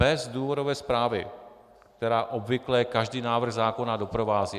Bez důvodové zprávy, která obvykle každý návrh zákona doprovází.